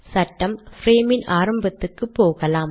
சட்டம் ப்ரேமின் ஆரம்பத்துக்கு போகலாம்